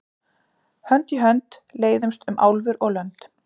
Hönd í hönd leiðumst um álfur og lönd.